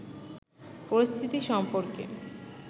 পরিস্থিতি সম্পর্কে